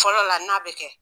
Fɔlɔ la n'a bɛ kɛ.